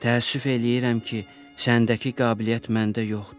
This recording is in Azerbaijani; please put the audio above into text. Təəssüf eləyirəm ki, səndəki qabiliyyət məndə yoxdur.